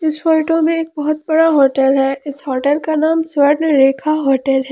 इस फोटो में एक बहोत बड़ा होटल है इस होटल का नाम स्वर्ण रेखा होटल है।